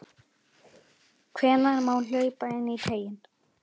Hvenær má hlaupa inní teiginn?